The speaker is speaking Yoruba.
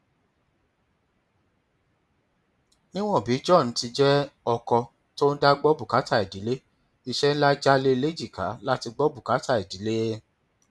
níwọn bí john ti jẹ ọkọ tó ń dá gbọ bùkátà ìdílé iṣẹ ńlá já lé e léjìká láti gbọ bùkátà ìdílé